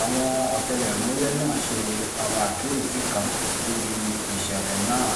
àwọn ọ̀tẹlẹ̀múyẹ́ náà ṣe àwọn àkíyèsí kan níbi ìṣẹ̀lẹ̀ náà